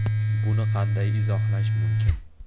Buni qanday izohlash mumkin?